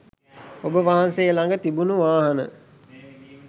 ඔබ වහන්සේ ළඟ තිබුණු වාහන